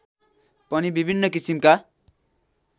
पनि विभिन्न किसिमका